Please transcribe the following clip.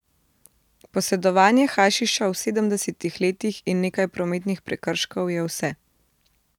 Posedovanje hašiša v sedemdesetih letih in nekaj prometnih prekrškov je vse.